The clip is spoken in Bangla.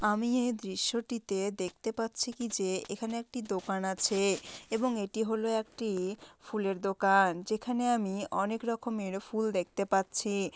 আমি এই দৃশ্যটিতে দেখতে পাচ্ছি কি যে এখানে একটি দোকান আছে-এ এবং এটি হল একটি ফুলের দোকান-অ যেখানে আমি অনেক রকমের ফুল দেখতে পাচ্ছি-ই।